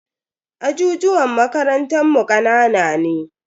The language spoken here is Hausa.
Ajijuwan makarantan mu kanana ne.